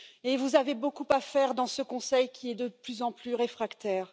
Et vous avez beaucoup à faire dans ce Conseil, qui y est de plus en plus réfractaire.